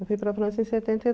Eu fui para a França em setenta e